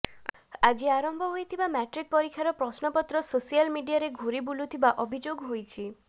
ଆଜି ଆରମ୍ଭ ହୋଇଥିବା ମ୍ୟାଟ୍ରିକ ପରୀକ୍ଷାର ପ୍ରଶ୍ନପତ୍ର ସୋଶାଲ ମିଡିଆରେ ଘୁରି ବୁଲୁଥିବା ଅଭିଯୋଗ ହୋଇଛି